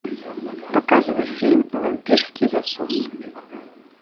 показывай фильм вампирский засос